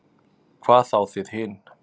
Hvað þá þið hin.